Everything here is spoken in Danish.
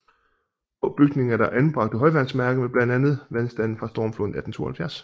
På bygningen er der anbragt et højvandsmærke med blandt andet vandstanden fra stormfloden i 1872